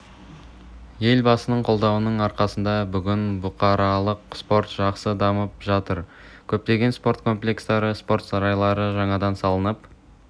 елбасының қолдауының арқасында бүгін бұқаралық спорт жақсы дамып жатыр көптеген спорт комплекстары спорт сарайлары жаңадан салынып